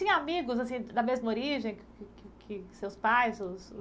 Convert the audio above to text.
tinha amigos assim da mesma origem que que que seus pais os?